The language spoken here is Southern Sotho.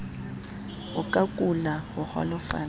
a ka kula a holofala